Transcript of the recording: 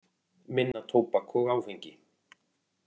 Minna tóbak og áfengi